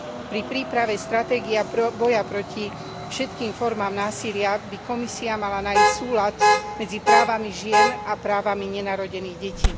Pri príprave stratégie a boja proti všetkým formám násilia by Komisia mala nájsť súlad medzi právami žien a právami nenarodených detí.